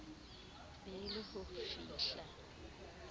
be e le ho fahla